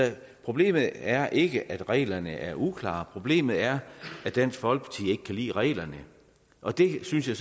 problemet er ikke at reglerne er uklare problemet er at dansk folkeparti ikke kan lide reglerne og det synes jeg